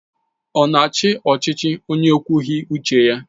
Ọ na-achị ọchịchị onye ekwughị uche ya?